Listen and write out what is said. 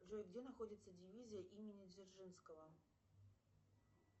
джой где находится дивизия имени дзержинского